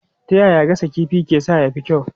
Ta yaya gasa kifi ke sa ya fi kyau?